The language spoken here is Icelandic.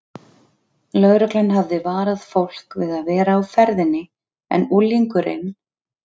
Lögreglan hafði varað fólk við að vera á ferðinni en unglingurinn